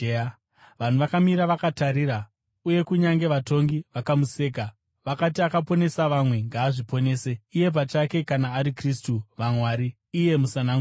Vanhu vakamira vakatarira, uye kunyange vatongi vakamuseka. Vakati, “Akaponesa vamwe; ngaazviponese iye pachake kana ari Kristu waMwari, iye Musanangurwa.”